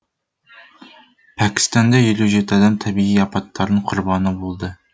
пәкістанда елу жеті адам табиғи апаттардың құрбаны болды